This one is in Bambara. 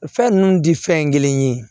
Fɛn ninnu di fɛn kelen ye